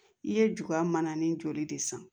I ye juya mana nin joli de san